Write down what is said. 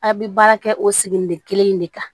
A' bɛ baara kɛ o sigilen de kelen in de kan